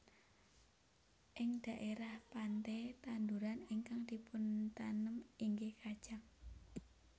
Ing dhaerah pante tanduran ingkang dipuntanem inggih kacang